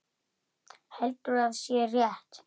Heldur að sé rétt.